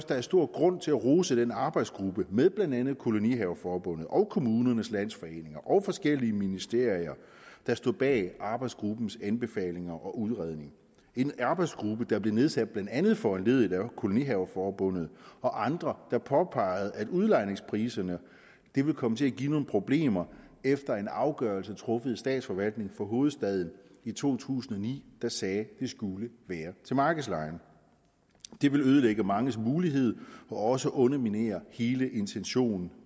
der er stor grund til at rose den arbejdsgruppe med blandt andet kolonihaveforbundet og kommunernes landsforening og forskellige ministerier der står bag arbejdsgruppens anbefalinger og udredning det en arbejdsgruppe der blev nedsat blandt andet foranlediget af kolonihaveforbundet og andre der påpegede at udlejningspriserne ville komme til at give nogle problemer efter at en afgørelse truffet af statsforvaltningen for hovedstaden i to tusind og ni sagde at det skulle være til markedslejen det ville ødelægge manges mulighed og også underminerer hele intentionen